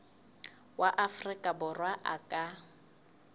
wa afrika borwa a ka